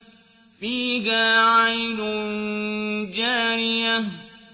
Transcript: فِيهَا عَيْنٌ جَارِيَةٌ